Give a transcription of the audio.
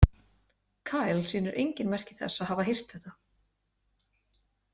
Kyle sýnir engin merki þess að hafa heyrt þetta.